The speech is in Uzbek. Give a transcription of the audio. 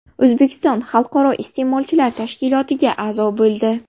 O‘zbekiston Xalqaro iste’molchilar tashkilotiga a’zo bo‘ldi.